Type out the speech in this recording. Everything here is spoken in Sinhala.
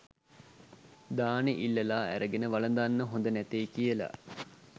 දානෙ ඉල්ලලා අරගෙන වළඳන්න හොඳ නැතෙයි කියලා